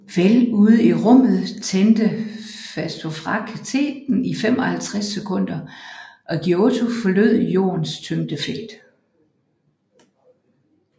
Vel ude i rummet tændte faststofraketten i 55 sekunder og Giotto forlod Jordens tyngdefelt